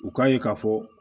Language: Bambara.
U k'a ye k'a fɔ